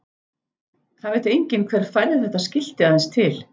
Það veit enginn hver færði þetta skilti aðeins til.